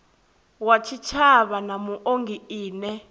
wa tshitshavha na muongi ine